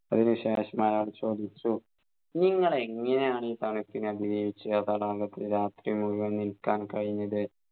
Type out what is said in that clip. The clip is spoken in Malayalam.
അതിനു ശേഷം അയാൾ ചോദിച്ചു നിങ്ങൾ എങ്ങനെയാണു തണുപ്പിനെ അതിജീവിച്ച് ആ തടാകത്തിൽ നിൽക്കാൻ കഴിഞ്ഞത്